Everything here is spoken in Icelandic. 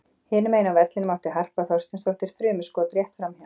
Hinum megin á vellinum átti Harpa Þorsteinsdóttir þrumuskot rétt framhjá.